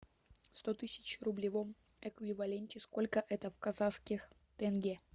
сто тысяч в рублевом эквиваленте сколько это в казахских тенге